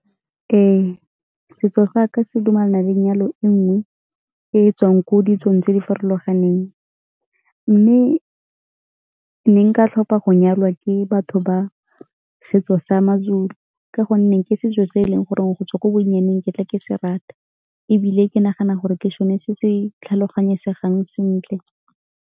Ee, setso sa ka se dumelana le 'nyalo e nngwe e e tswang ko ditsong tse di farologaneng mme ne nka tlhopha go nyalwa ke batho ba setso sa maZulu ka gonne ke setso se e leng gore go tswa ko bonnyane ke ne ke se rata ebile ke nagana gore ke sone se se tlhaloganyesegang sentle.